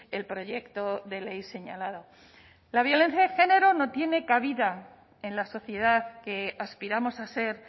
el proyecto de ley señalado la violencia de género no tiene cabida en la sociedad que aspiramos a ser